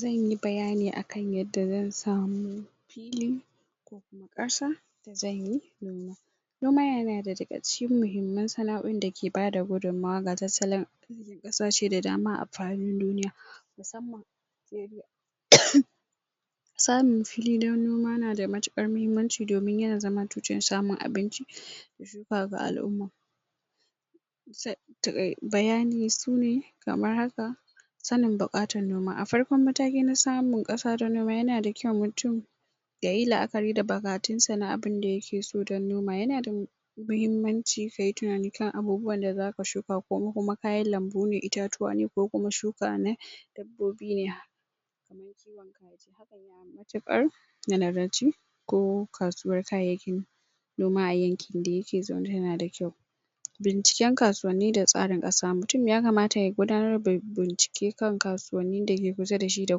zanyi bayani akan yanda zan samu noma yana daga cikin mahimman sana'oin da kasashe da dama a fadin duniya saamun fili dan noma yanada matukar mahimmanci domin yana zama tushen samun abinci ba ga al'umma bayani sune kamar haka sanin bukatar noma a matakin farko na samun kasa na noma yanada kyau mutum yayi la'akari da bagatunsa na abinda yakeso na noma yanada mahimmanci kayi tunanin abubuwan da zaka shuka kokuma kayan lanbune itatuwa ne ko kuma shuka ne ko kasuwan kayayyaki noma a yanki dayake dazaune yanada kyau binciken kasuwanni da tsarin kasa mutum ya kamata ya gudanarda binciken kan kasuwanni dake kusa dashi da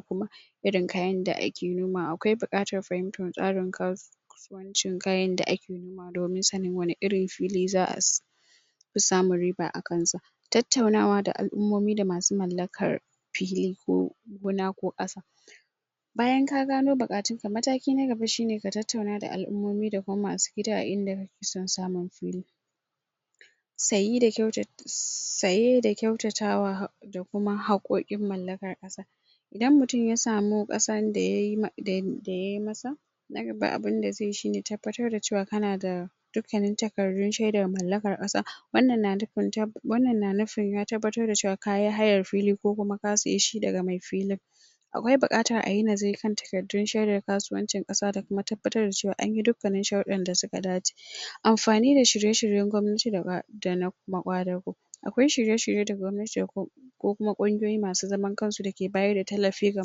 kuma irin kayan da ake nomawa akwai bukatar tsarin fahimtan kasu kasuwancin kayan da akeyi domin sanin wani irin fili za'as samun riba akansa tattauna da al'ummomi da masu mallakar fili ko gona ko kasa bayan ka gano bukatunka mataki na gaba shine ka tattauna da al'ummomi da kuma masu gida a inda sun sa ma fili sayi da kyauta sayi da kyautat sayi da kyautatawa da kuma hakkokin mallakan kasa idan mutum yasamu kasar da yayi ma dayayi masa nagaba abinda zeyi shine tabbatarda cewa kanada dukkannin takardun shaidar mallakar kasa wannan na nufin ya tabbatar da cewa kayi hayar fili ko kuma ka sayeshi daga mai filin akwai bukatar ayi nazari kan takardu shaidar kasuwanci kasa da kuma tabbatar cewan anyi dukkkan shardun da suka dace amfani da shirye shiryen gwamnati da ba dana ma kwadago akwai shirye shiryen da gwamnati ko kokuma kungiyoyi masu zaman kansu dake bayarda tallafi ga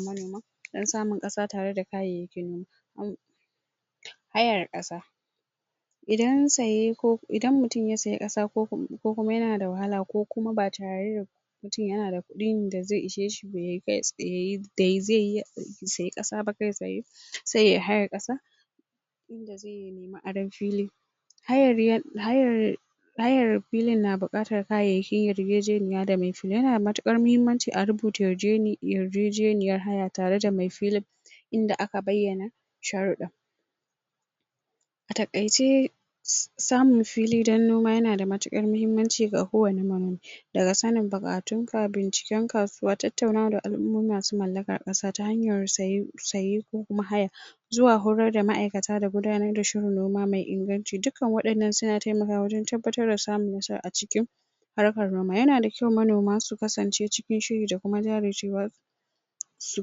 manoma don samun kasa da kayayyakin noma an hayar kasa idan saye ko idan mutum ya sayi kasa koko kokuma yanada wahala ko kuma ba tareda ji yanada kudin da ze isheshi dazeyi sayi kasa ba kai tsaye se yayi hayar kasa ma'adar fili hayar filin na bukatar kayayyakin yarjejeniya da me yana matukar kmahimmanci a rubuta yarje ni yarjejeniyar haya tareda mai fili inda aka bayyana sharda atakaice samun fili dan noma yanada matukar mahimmanci ga kowan manomi tattauna da al'ummomi masu mallakar kasa ta hanyar saye saye ko kuma haya zuwa horarda ma'aikata da gudanarda shirin noma mai inganci duk duk ka wadannan suna taimakawa wajan samun nasara aciki harkar noma yanada kyau manoma su kasance cikin shiri dakuma jajircewa su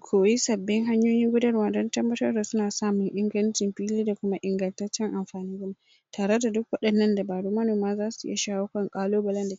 koyi sabbi hanyoyi gudarwa dan tabbabtarda cewa suna samun inganci fili da kuma ingantaccen anfanin gona sun shawo kan kalubale